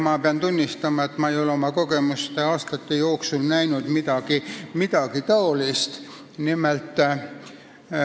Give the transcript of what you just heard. Ma pean tunnistama, et ma ei ole seni veel midagi säärast näinud.